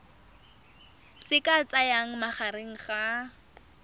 se ka tsayang magareng ga